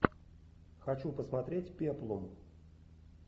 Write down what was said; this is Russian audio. хочу посмотреть пеплум